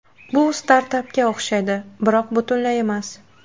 Bu startapga o‘xshaydi, biroq butunlay emas.